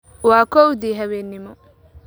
Waa kowdii habeenimo